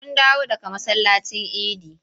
Mun dawo daga masallacin idi.